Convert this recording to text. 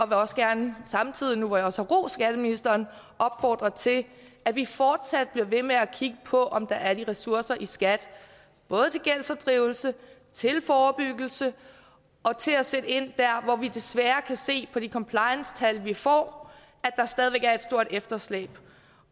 også gerne samtidig nu hvor jeg også har rost skatteministeren opfordre til at vi fortsat bliver ved med at kigge på om der er ressourcer i skat både til gældsinddrivelse til forebyggelse og til at sætte ind der hvor vi desværre kan se på de compliancetal vi får at der stadig væk er et stort efterslæb